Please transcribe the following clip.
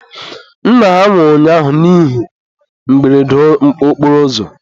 nna ha nwụrụ ụnyaahụ n'ihe mberede okporoụzọ.